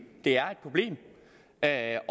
det er et problem at